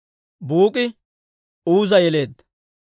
Buuk'i Uuza yeleedda;